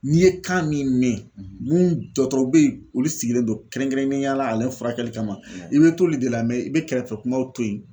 N'i ye kan min mɛn mun dɔgɔtɔrɔ bɛ yen olu sigilen don kɛrɛnkɛrɛnnenya la ale furakɛli kama i bɛ to olu de la mɛ i bɛ kɛrɛfɛ kumaw to yen.